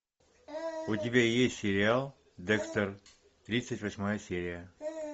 у тебя есть сериал декстер тридцать восьмая серия